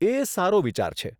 એ સારો વિચાર છે.